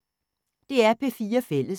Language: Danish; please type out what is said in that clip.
DR P4 Fælles